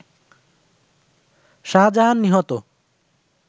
শাহজাহান নিহত